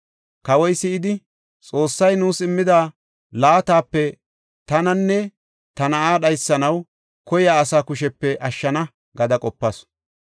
Kawoy si7idi, Xoossay nuus immida laatape tananne ta na7aa dhaysanaw koyiya asaa kushepe ashshana’ gada qopas.